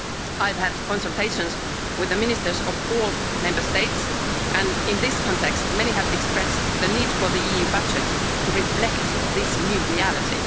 I have had consultations with the ministers of all Member States, and in this context, many have expressed the need for the EU budget to reflect this new reality.